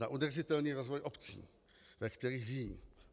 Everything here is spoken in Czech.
Na udržitelný rozvoj obcí, ve kterých žijí.